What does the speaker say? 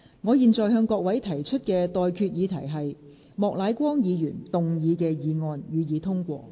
我現在向各位提出的待決議題是：莫乃光議員動議的議案，予以通過。